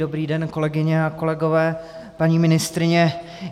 Dobrý den, kolegyně a kolegové, paní ministryně.